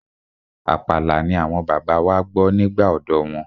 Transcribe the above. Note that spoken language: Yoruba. Àpàlà ni àwọn bàbá wa gbọ́ nígbà ọ̀dọ́ wọn.